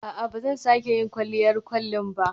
A'a, ba zan sake yin kwalliyar kwalin ba.